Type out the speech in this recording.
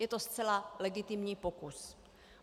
Je to zcela legitimní pokus.